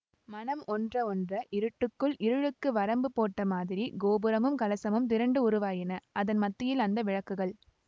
மனம் ஒன்ற ஒன்ற இருட்டுக்குள் இருளுக்கு வரம்பு போட்ட மாதிரி கோபுரமும் கலசமும் திரண்டு உருவாயின அதன் மத்தியில் அந்த விளக்குகள்